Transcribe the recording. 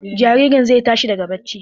Jaririn zai tashi daga bacci.